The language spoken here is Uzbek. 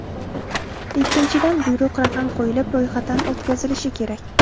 Ikkinchidan, buyruq raqam qo‘yilib, ro‘yxatdan o‘tkazilishi kerak.